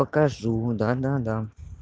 покажу да да да